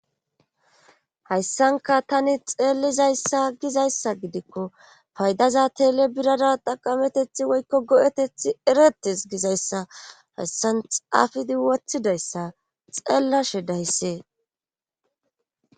hayssanka tani xeellizayssa gizayssa gidikko paydaza tele birara taqametethi woykko go7etethi eretes gizayssa hayssan xaafidi wothidayssa xeellashe dayssee